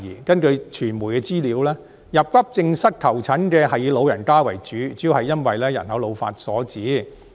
根據傳媒的資料，到急症室求診的人是以老人家為主，主要是因為人口老化所致。